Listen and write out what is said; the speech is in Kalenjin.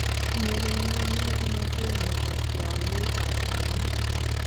Tinyei kenya mokornotee ne bo tiongii ab tumin.